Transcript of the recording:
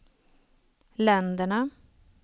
länderna